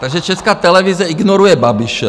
Takže Česká televize ignoruje Babiše.